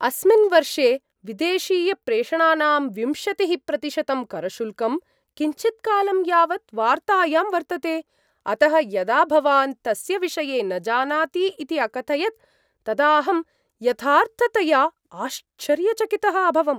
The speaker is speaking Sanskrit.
अस्मिन् वर्षे विदेशीयप्रेषणानां विंशतिः प्रतिशतं करशुल्कं किञ्चित्कालं यावत् वार्तायां वर्तते, अतः यदा भवान् तस्य विषये न जानाति इति अकथयत् तदा अहं यथार्थतया आश्चर्यचकितः अभवम्।